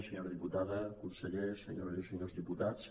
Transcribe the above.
senyora diputada consellers senyores i senyors diputats